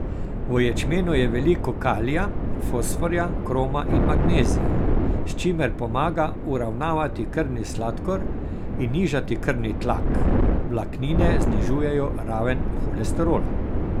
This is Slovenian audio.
V ječmenu je veliko kalija, fosforja, kroma in magnezija, s čimer pomaga uravnavati krvni sladkor in nižati krvni tlak, vlaknine znižujejo raven holesterola...